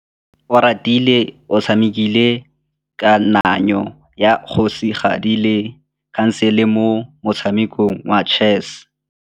Oratile o tshamekile kananyô ya kgosigadi le khasêlê mo motshamekong wa chess.